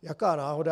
Jaká náhoda.